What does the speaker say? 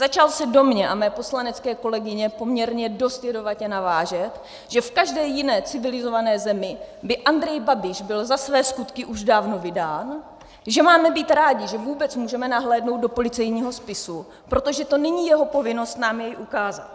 Začal se do mě a mé poslanecké kolegyně poměrně dost jedovatě navážet, že v každé jiné civilizované zemi by Andrej Babiš byl za své skutky už dávno vydán, že máme být rádi, že vůbec můžeme nahlédnout do policejního spisu, protože to není jeho povinnost nám jej ukázat.